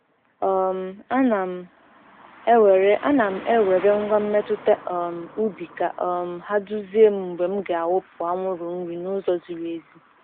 um Ana m ewere Ana m ewere ngwa mmetụta um ubi ka um ha duzie m mgbe m ga-awụpụ anwụrụ nri n’ụzọ ziri ezi.